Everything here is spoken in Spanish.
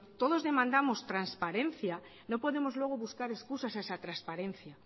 todos demandamos transparencia no podemos luego buscar excusas a esa transparencia